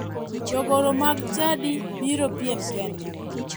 Jogoro mag chadi biro piem kendgi